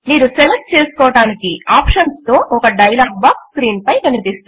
మీరు సెలెక్ట్ చేసుకోటానికి ఆప్షన్స్ తో ఒక డైలాగ్ బాక్స్ స్క్రీన్ పై కనిపిస్తుంది